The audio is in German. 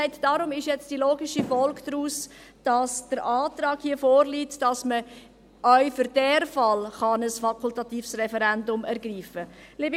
Deshalb ist nun die logische Folge davon, dass hier der Antrag vorliegt, dass man auch für diesen Fall ein fakultatives Referendum ergreifen kann.